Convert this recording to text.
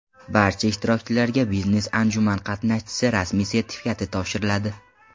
Barcha ishtirokchilarga biznes-anjuman qatnashchisi rasmiy sertifikati topshiriladi.